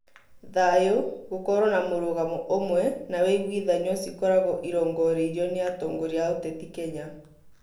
Thayũ, gũkorwo na mũrũgamo ũmwe na wũiguithanio cikoragwo irongoreirio nĩ atongoria a ũteti Kenya